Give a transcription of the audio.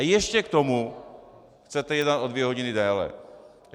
A ještě k tomu chcete jednat o dvě hodiny déle!